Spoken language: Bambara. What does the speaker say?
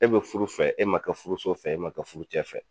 E be furu fɛ, e ma kɛ furuso fɛ, e ma kɛ furucɛ fɛ.